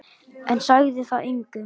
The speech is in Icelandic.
En sagði það engum.